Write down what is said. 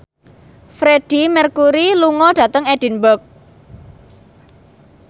Freedie Mercury lunga dhateng Edinburgh